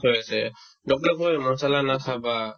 হৈ আছে doctor য়ে কই মছলা নাখাবা